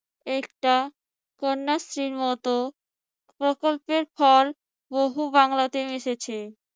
একটা কন্যাশ্রীর মত প্রকল্পের ফল বহু বাংলাতে মিশেছে